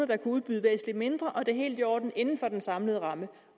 kan udbyde væsentlig mindre og at det er helt i orden inden for den samlede ramme